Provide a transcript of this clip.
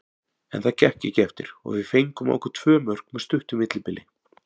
En það gekk ekki eftir og við fengum á okkur tvö mörk með stuttu millibili.